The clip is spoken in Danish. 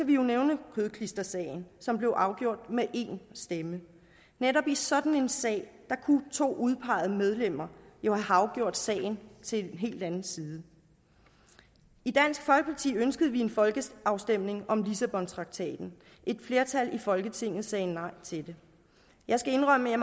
vi jo nævne kødklistersagen som blev afgjort med en stemme netop i sådan en sag kunne to udpegede medlemmer jo have afgjort sagen til en helt anden side i dansk folkeparti ønskede vi en folkeafstemning om lissabontraktaten et flertal i folketinget sagde nej til det jeg skal indrømme at